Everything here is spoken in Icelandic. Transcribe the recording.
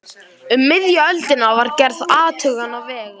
Um miðja öldina var gerð athugun á vegum